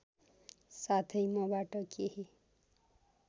साथै मबाट केही